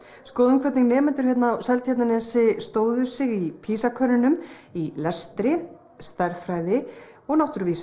skoðum hvernig nemendur hér á Seltjarnarnesi stóðu sig í PISA í lestri stærðfræði og náttúrufræði